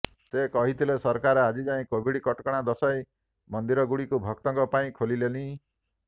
ସେ କହିଥିଲେ ସରକାର ଆଜିଯାଏଁ କୋଭିଡ କଟକଣା ଦର୍ଶାଇ ମନ୍ଦିରଗୁଡ଼ିକୁ ଭକ୍ତଙ୍କ ପାଇଁ ଖୋଲିଲେନି